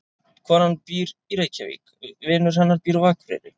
Konan býr í Reykjavík. Vinur hennar býr á Akureyri.